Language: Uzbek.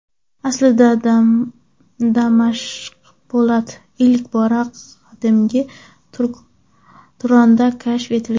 Aslida Damashq po‘lati ilk bora qadimgi Turonda kashf etilgan.